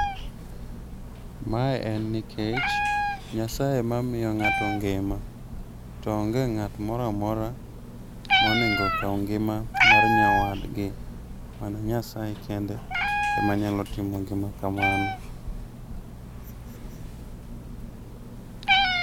Mae en nikech Nyasaye ema miyo ng'ato ngima, to onge ng'at moramora monego kaw ngima mar nyawadgi. Mana nyasaye kende ema nyalo timo kamano